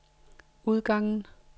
udgangen